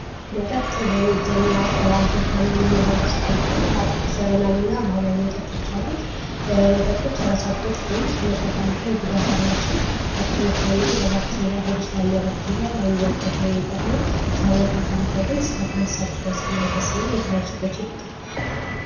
መጠጥ በእንግዝኛው አልኮል ከምንለው ውስጥ አንድኛው ዘመናዊ እና ባህላዊ መጠጦች የራሳቸው ጥቅም ከመጠን ካለፈ ጉዳት አላቸው ከጥቅሞቹ አንዱ ለባክቴሪያ ሆድ ውስጥ ካለ ባክቴሪያ ይጠቅማል ከመጠን ካለፈ ግን እስከ ካንሰር ድረስ ማድረስ እና የተለያዩ ችግሮች ይፈጥራል።